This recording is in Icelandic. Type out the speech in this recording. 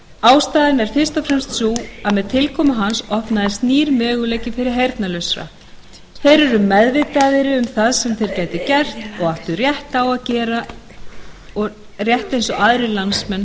ástæðan er fyrst og fremst sú að með tilkomu hans opnaðist nýr möguleiki fyrir heyrnarlausa þeir urðu meðvitaðri um það sem þeir gætu gert og áttu rétt á að gera rétt eins og aðrir landsmenn